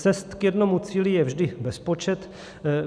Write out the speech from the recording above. Cest k jednomu cíli je vždy bezpočet.